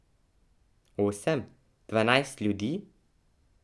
Osem, dvanajst ljudi?